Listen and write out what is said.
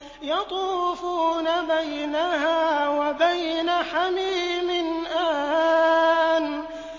يَطُوفُونَ بَيْنَهَا وَبَيْنَ حَمِيمٍ آنٍ